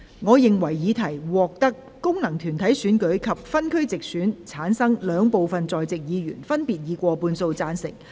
我認為議題獲得經由功能團體選舉產生及分區直接選舉產生的兩部分在席議員，分別以過半數贊成。